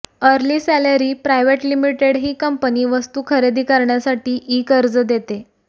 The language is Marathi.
अर्ली सॅलरी प्रायव्हेट लिमिटेड ही कंपनी वस्तू खरेदी करण्यासाठी ई कर्ज देते